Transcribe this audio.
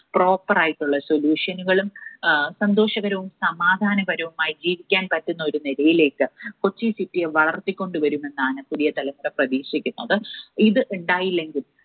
proper ആയിട്ടുള്ള solution കളും സന്തോഷകരവും സമാധാനപരവും ആയി ജീവിക്കാൻ പറ്റുന്ന ഒരു നിലയിലേക്ക് കൊച്ചി City യെ വളർത്തിക്കൊണ്ടു വരുമെന്നാണ് പുതിയ തലമുറ പ്രതീക്ഷിക്കുന്നത്. ഇത് ഉണ്ടായില്ലെങ്കിൽ